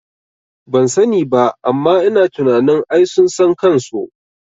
Bansani ba amma ina tunanin ai sun san kanso